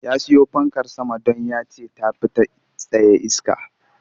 Ya siyo fankar sama don ya ce ta fi ta tsaye iske